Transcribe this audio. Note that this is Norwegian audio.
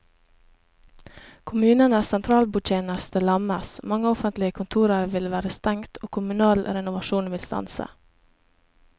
Kommunenes sentralbordtjeneste lammes, mange offentlige kontorer vil være stengt og kommunal renovasjon vil stanse.